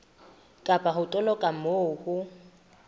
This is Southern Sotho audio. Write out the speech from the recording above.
kapa ho toloka moo ho